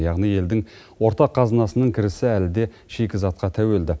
яғни елдің ортақ қазынасының кірісі әлі де шикізатқа тәуелді